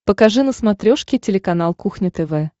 покажи на смотрешке телеканал кухня тв